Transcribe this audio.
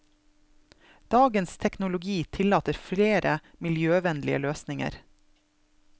Dagens teknologi tillater flere miljøvennlige løsninger.